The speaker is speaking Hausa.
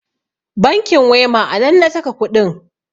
bankin wema a nan na saka kuɗin